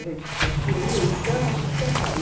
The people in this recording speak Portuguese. A gente construiu, então, vou te contar.